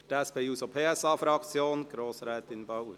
Für die SP-JUSO-PSA-Fraktion: Grossrätin Bauer.